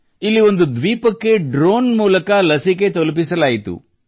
ಇಲ್ಲಿ ಒಂದು ದ್ವೀಪಕ್ಕೆಡ್ರೋನ್ ಮೂಲಕ ಲಸಿಕೆ ತಲುಪಿಸಲಾಯಿತು